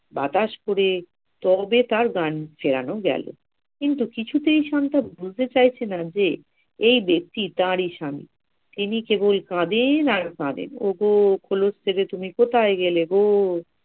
বাতাস করে তবে তার জ্ঞান ফেরানো গেলো। কিন্তু কিছুতেই শান্তা বুঝতে চাইছে না যে এই ব্যক্তি তারি স্বামি, তিনি কেবল কাঁদেন আর কাঁদেন ওগো খোলস থেকে তুমি কোথায় গেলে গো!